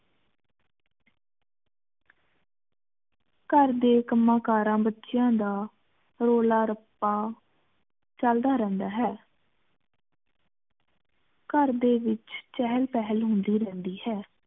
ਘਰ ਡੀ ਕਮਾ ਕਰਾ ਬਚਯਾ ਦਾ ਰੋਲਾ ਰੱਪਾ ਚਲਦਾ ਰਹੰਦਾ ਹੈ ਘਰ ਡੀ ਵਿਚ ਚੇਹਲ ਪਹਲ ਹੁੰਦੀ ਰਿਹੰਦੀ ਹੈ